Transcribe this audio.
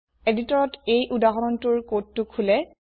এদিটৰত এই উদাহৰণটোৰ কোডটো খোলে